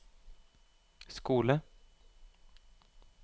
skole